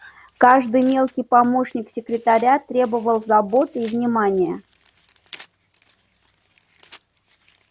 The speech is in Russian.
каждый мелкий помощник секретаря требовал заботы и внимания